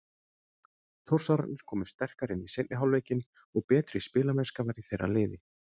Þórsararnir komu sterkari inn í seinni hálfleikinn og betri spilamennska var í þeirra liði.